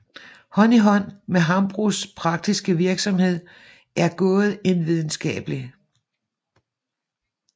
Hånd i hånd med Hambros praktiske virksomhed er gået en videnskabelig